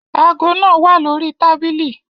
Aago naa wa lori tabili